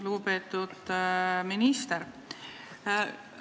Lugupeetud minister!